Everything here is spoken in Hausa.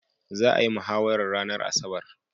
Za'a yi mahawarar ranar asabar.